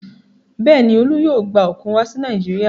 Bẹ́ẹ̀ ni, Olú yóò gba òkun wá sí Nàìjíríà.